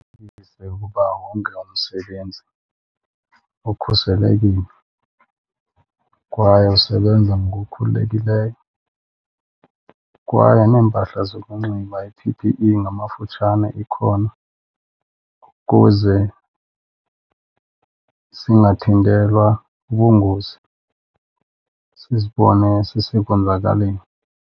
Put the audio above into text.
Qinisekise ukuba wonke umsebenzi ukhuselekile kwaye usebenza ngokukhululekileyo kwaye neempahla zokunxiba, i-P_P_E ngamafutshane, ikhona ukuze singathintelwa ubungozi sizibone sisekwenzakaleni.